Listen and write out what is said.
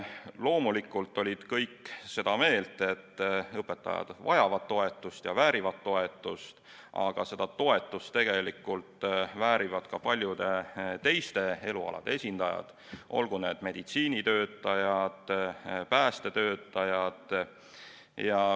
Loomulikult olid kõik seda meelt, et õpetajad vajavad toetust ja väärivad toetust, aga seda toetust tegelikult väärivad ka paljude teiste elualade esindajad, olgu need meditsiinitöötajad või päästetöötajad.